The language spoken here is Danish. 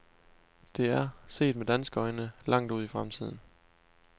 Det er, set med danske øjne, langt ude i fremtiden.